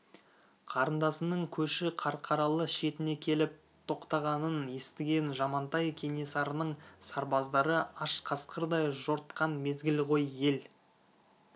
қарындасының көші қарқаралы шетіне келіп тоқтағанын естіген жамантай кенесарының сарбаздары аш қасқырдай жортқан мезгіл ғой ел